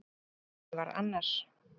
En veruleikinn var annar.